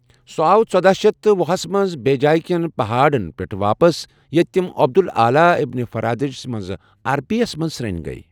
سہ آو ژۄداہ شیتھ وُہس مَنٛز بیجایہ کین پہاڑن پؠٹھ واپس یتہِ تم عبد الآلی ابن فرادج مَنٛز عربی یس مَنٛز سرٛن گیؠ